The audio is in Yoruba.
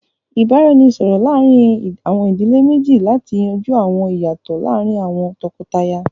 Ìbáraẹnisọ̀rọ̀ láàrin àwọn ìdílé méjì láti yanjú àwọn ìyàtọ̀ láàrín àwọn tọkọtaya